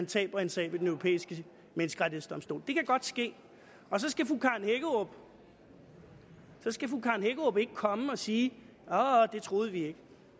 taber en sag ved den europæiske menneskerettighedsdomstol det kan godt ske og så skal fru karen hækkerup ikke komme og sige det troede vi ikke